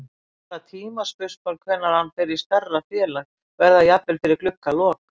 Bara tímaspursmál hvenær hann fer í stærra félag. verður það jafnvel fyrir gluggalok?